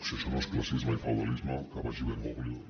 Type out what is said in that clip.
si això no és classisme i feudalisme que baixi bergoglio